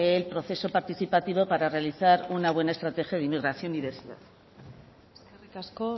el proceso participativo para realizar una buena estrategia de inmigración eskerrik asko